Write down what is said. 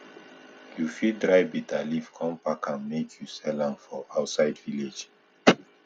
you fit dry bitter leaf con pack am make you sell am for outside village